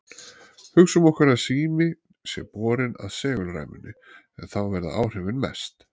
Hugsum okkur að síminn sé borinn að segulræmunni, en þá verða áhrifin mest.